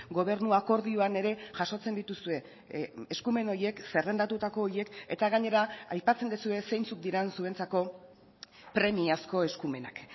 gobernu akordioan ere jasotzen dituzue eskumen horiek zerrendatutako horiek eta gainera aipatzen duzue zeintzuk diren zuentzako premiazko eskumenak